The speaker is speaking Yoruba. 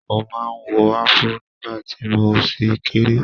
Mo máa ń wọ Afro nígbà tí mo ṣì kéré.